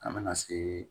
An bɛna se